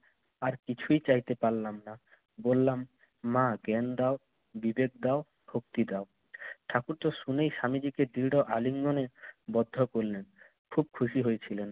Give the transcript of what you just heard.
আর কিছুই চাইতে পারলাম না। বললাম, মা জ্ঞান দাও, বিবেক দাও, শক্তি দাও। ঠাকুরতো শুনেই স্বামীজিকে দৃঢ় আলিঙ্গনে বদ্ধ করলেন। খুব খুশি হয়েছিলেন।